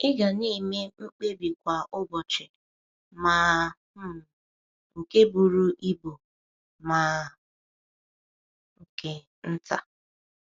Ị ga na-eme mkpebi kwa ụbọchị, ma um nke buru ibu ma nke nta.